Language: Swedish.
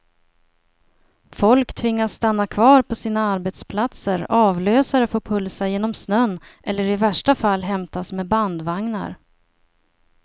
Folk tvingas stanna kvar på sina arbetsplatser, avlösare får pulsa genom snön eller i värsta fall hämtas med bandvagnar.